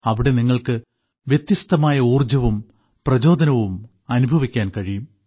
അവിടെ നിങ്ങൾക്ക് വ്യത്യസ്തമായ ഊർജ്ജവും പ്രചോദനവും അനുഭവിക്കാൻ കഴിയും